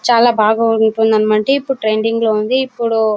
చాలా బాగా ఉంటుందన్నమాట. ఇప్పుడు ట్రెండింగ్ లో ఉంది. ఇప్పుడూ --